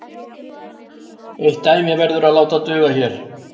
Eitt dæmi verður látið duga hér.